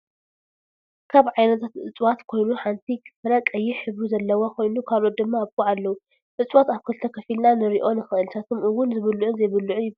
ካብ ዓይነታት እፅዋት ኮይኑ ሓንቲ ፍረ ቀይሕ ሕብሪ ዘለዋ ኮይኑ ካለኦትት ድማ ኣብ ጉዕ ኣለዋ። እፅዋት ኣብ ክልተ ከፊልና ክንሪኦ ንክእል ንሳቶም እወን ዝብሉዑን ዘይብሉዑን ይበሃሉ።